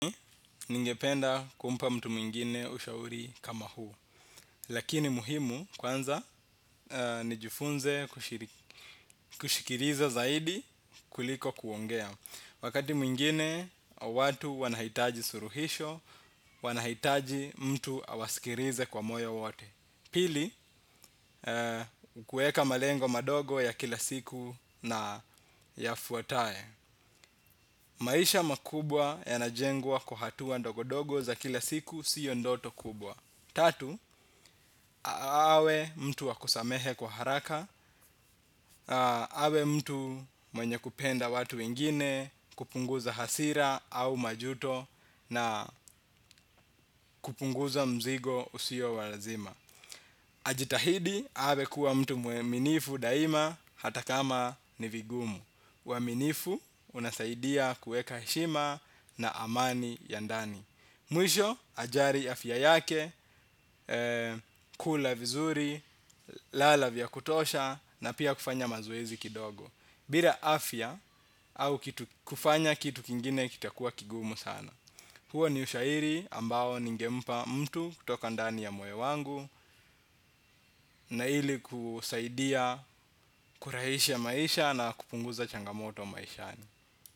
Ningependa kumpa mtu mwingine ushauri kama huu. Lakini muhimu kwanza nijifunze kushikiriza zaidi kuliko kuongea. Wakati mwingine watu wanahitaji suruhisho, wanahitaji mtu awasikirize kwa moyo wote. Pili, kueka malengo madogo ya kila siku na yafuataye. Maisha makubwa yanajengwa kwa hatua ndogo-dogo za kila siku siyo ndoto kubwa. Tatu, awe mtu wa kusamehe kwa haraka. Awe mtu mwenye kupenda watu wengine kupunguza hasira au majuto na kupunguza mzigo usio wa lazima. Ajitahidi, awe kuwa mtu mweminifu daima hata kama ni vigumu uwaminifu unasaidia kueka heshima na amani ya ndani. Mwisho ajari afya yake, kula vizuri, lala vya kutosha na pia kufanya mazoezi kidogo bira afya au kufanya kitu kingine kitakuwa kigumu sana. Huo ni ushairi ambao ningempa mtu kutoka ndani ya moyo wangu. Na hili kusaidia kurahisha maisha na kupunguza changamoto maishani.